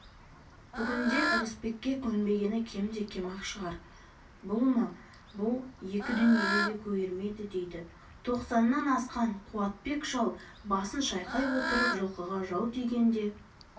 бүгінде ырысбекке көнбегені кемде-кем-ақ шығар бұл ма бұл екі дүниеде көгермейді дейді тоқсаннан асқан қуатбек шал басын шайқай отырып жылқыға жау тигенде